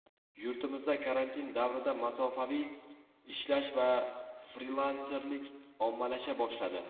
Yurtimizda karantin davrida masofaviy ishlash va frilanserlik ommalasha boshladi.